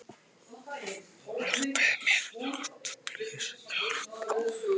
Skoðið einnig svör við eftirfarandi spurningum: Hvað eru heimsálfurnar margar?